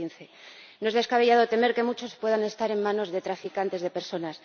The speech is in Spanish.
2015. No es descabellado temer que muchos puedan estar en manos de traficantes de personas.